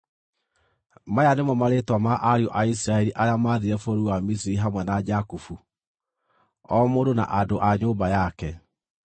Maya nĩmo marĩĩtwa ma ariũ a Isiraeli arĩa maathiire bũrũri wa Misiri hamwe na Jakubu, o mũndũ na andũ a nyũmba yake: